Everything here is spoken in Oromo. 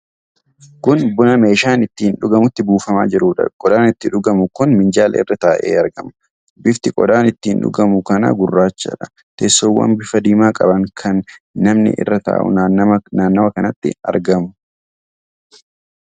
Kun buna meeshaa ittiin dhugamutti buufamaa jiruudha. Qodaan itti dhugamu kun minjaala irra taa'ee argama. Bifti qodaa ittiin dhugamu kanaa gurraachadha. Teessoowwan bifa diimaa qaban kan namni irra taa'u naannawa kanatti argamu.